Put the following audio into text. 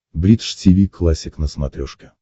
бридж тиви классик на смотрешке